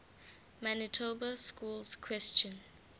manitoba schools question